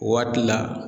Waati la